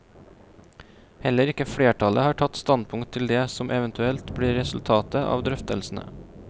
Heller ikke flertallet har tatt standpunkt til det som eventuelt blir resultatet av drøftelsene.